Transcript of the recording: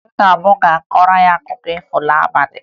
Nna m ga-akọrọ anyị akụkọ ifo n'abalị